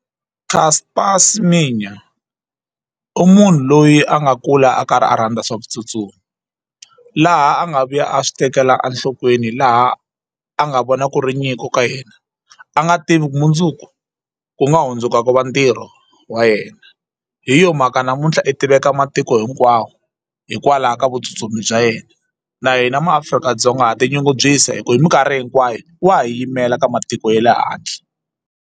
Caster Semenya u munhu loyi a nga kula a karhi a rhandza swa vutsutsumi laha a nga vuya a swi tekela enhlokweni laha a nga vona ku ri nyiko ka yena a nga tivi ku mundzuku ku nga hundzuka ku va ntirho wa yena hi yo mhaka namuntlha i tiveka matiko hinkwawo hikwalaho ka vutsutsumi bya yena na hina maAfrika-Dzonga ha tinyungubyisa hi ku hi mikarhi hinkwayo wa ha yimela ka matiko ye le handle.